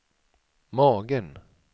magen